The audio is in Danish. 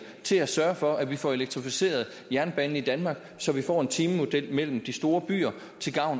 til at sørge for at vi får elektrificeret jernbanen i danmark så vi får en timemodel mellem de store byer